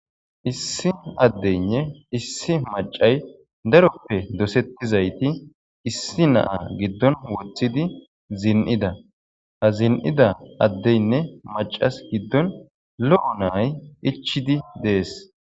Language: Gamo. Issi addeynne issi macay daroppe dosettizayti issi naa giddon wothidi zin7ida hazin7ida addeynne macas giddon lo'o nay. ichidi dees